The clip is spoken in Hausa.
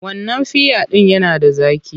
Wannan fiya ɗin yana da zaƙi.